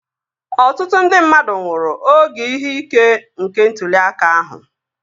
Ọtụtụ ndị mmadụ nwụrụ oge ihe ike nke ntụli aka ahụ